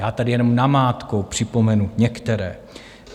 Já tady jenom namátkou připomenu některé.